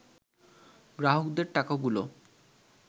গ্রাহকদের টাকাগুলো